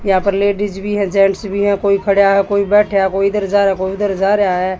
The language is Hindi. यहां पर लेडीज़ भी हैं जेंट्स भी हैं कोई खड़ा है कोई बैठा है कोई इधर जारा है कोई उधर जा रहा है।